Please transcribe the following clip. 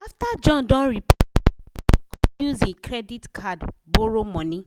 after john don repair e motor e com use e credit card borrow money.